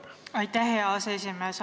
Aitäh, hea aseesimees!